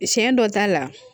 Siɲɛ dɔ t'a la